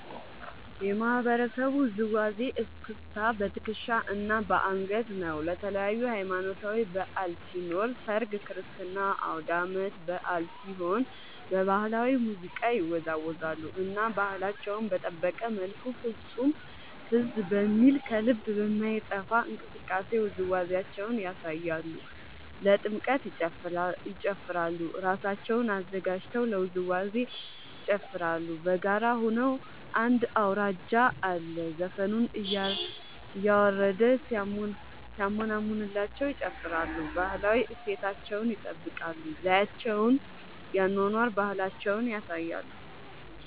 የማህበረሰቡ ውዝዋዜ እስክስታ በትከሻ እና በአንገት ነው። ለተለያዪ ሀማኖታዊ በዐል ሲኖር ሰርግ ክርስትና አውዳመት በአል ሲሆን በባህላዊ ሙዚቃ ይወዛወዛሉ እና ባህላቸውን በጠበቀ መልኩ ፍፁም ትዝ በሚል ከልብ በማይጠፍ እንቅስቃሴ ውዝዋዜያቸውን ያሳያሉ። ለጥምቀት ይጨፉራሉ እራሳቸውን አዘጋጅተው ለውዝዋዜ ይጨፋራሉ በጋራ ሆነው አንድ አውራጅ አለ ዘፈኑን እያረደ ሲያሞነምንላቸው ይጨፍራሉ። ባህላዊ እሴታቸውን ይጠብቃል ዘዪቸውን የአኗኗር ባህላቸውን ያሳያሉ።